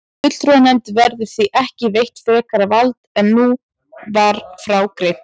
Fulltrúanefnd verður því ekki veitt frekara vald en nú var frá greint.